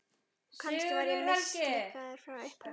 Og kannski var ég mislukkaður frá upphafi.